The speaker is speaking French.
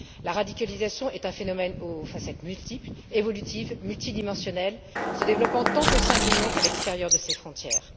La radicalisation est un phénomène aux facettes multiples, évolutives et multidimensionnelles, se développant tant au sein de l'Union qu'à l'extérieur de ses frontières.